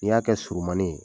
N'i y'a kɛ surunmanin ye